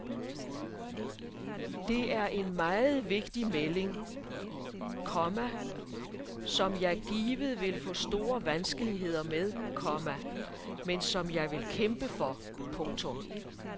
Det er en meget vigtig melding, komma som jeg givet vil få store vanskeligheder med, komma men som jeg vil kæmpe for. punktum